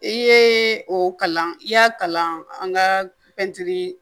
I ye o kalan i y'a kalan an ka pɛntiri